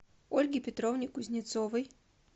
ольге петровне кузнецовой